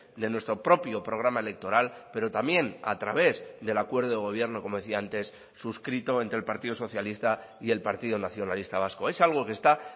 de nuestro propio programa electoral pero también a través del acuerdo de gobierno como decía antes suscrito entre el partido socialista y el partido nacionalista vasco es algo que está